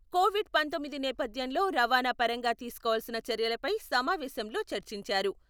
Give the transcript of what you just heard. Covid పంతొమ్మిది నేపథ్యంలో రవాణా పరంగా తీసుకోవాల్సిన చర్యలపై సమావేశంలో చర్చించారు.